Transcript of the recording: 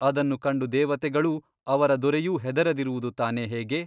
ಅದನ್ನು ಕಂಡು ದೇವತೆಗಳೂ ಅವರ ದೊರೆಯೂ ಹೆದರದಿರುವುದು ತಾನೇ ಹೇಗೆ?